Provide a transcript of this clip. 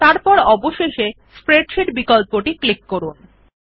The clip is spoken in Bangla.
তারপর অবশেষে স্প্রেডশীট বিকল্পটি ক্লিক করুন